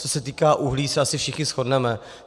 Co se týká uhlí, se asi všichni shodneme.